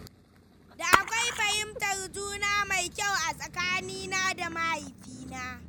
Da akwai fahimtar juna mai kyau a tsakanina da mahaifina.